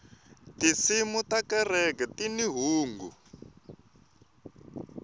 tinsimu ta kereke tini hungu